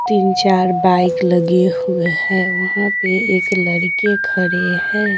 तीन चार बाइक लगे हुए हैं वहां पे एक लड़के खड़े हैं।